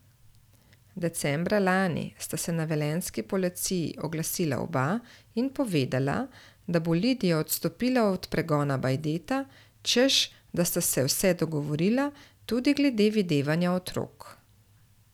Decembra lani sta se na velenjski policiji oglasila oba in povedala, da bo Lidija odstopila od pregona Bajdeta, češ da sta se vse dogovorila, tudi glede videvanja otrok.